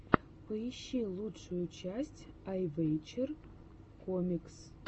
поищи лучшую часть айвэчер комикс